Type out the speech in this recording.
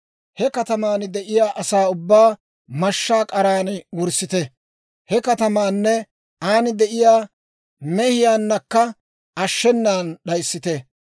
he kataman de'iyaa asaa ubbaa mashshaa k'aran wurssite; he katamaanne aan de'iyaa mehiyaannakka ashshenan d'ayissite.